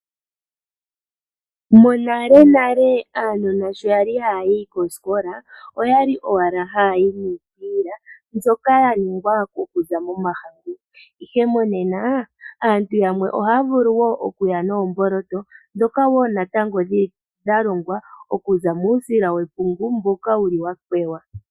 Monalenale aanona shokwali hayayi kosikola oyali owala hayayi niikwiila mbyoka yaningwa okuza moMahangu, ihe monena aantu yamwe ohavulu okuya noomboloto ndhoka woo natango dhalongwa okuza muusila wepungu mboka wakwewa.